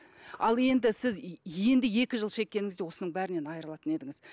ал енді сіз енді екі жыл шеккеніңізде осының бәрінен айрылатын едіңіз